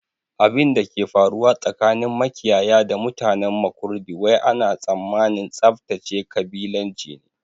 Abinda ke faruwa tsakanin makiyaya da mutanen Makurdi wai ana tsammanin tsaftace kabilanci ne